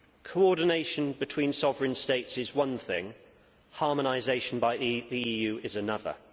Coordination between sovereign states is one thing, harmonisation by the EU is another.